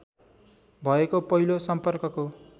भएको पहिलो सम्पर्कको